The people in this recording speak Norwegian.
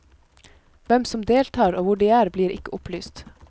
Hvem som deltar og hvor de er, blir ikke opplyst.